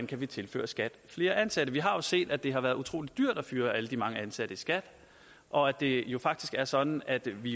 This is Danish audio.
kan tilføre skat flere ansatte vi har jo set at det har været utrolig dyrt at fyre alle de mange ansatte i skat og at det jo faktisk er sådan at vi